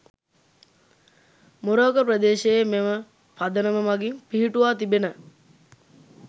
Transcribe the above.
මොරවක ප්‍රදේශයේ මෙම පදනම මගින් පිහිටුවා තිබෙන